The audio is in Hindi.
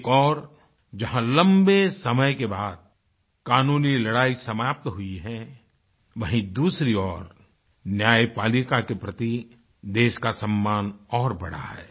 एक ओर जहाँ लम्बे समय के बाद कानूनी लड़ाई समाप्त हुई है वहीं दूसरी ओर न्यायपालिका के प्रति देश का सम्मान और बढ़ा है